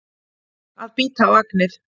Að bíta á agnið